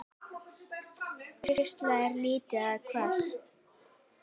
Bægslin eru lítil og hvöss.